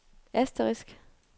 asterisk